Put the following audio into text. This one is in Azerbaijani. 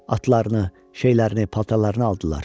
Atlarını, şeylərini, paltarlarını aldılar.